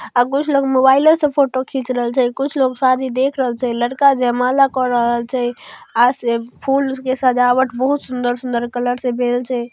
और कुछ लोग मोबाईलो से फोटो खिच रहैल छै। कुछ लोग शादी देख रहैल छै। लड़का जयमाला क रहल छै। आ फूल के सजावट बहुत सुंदर-सुंदर कलर से भेल छै।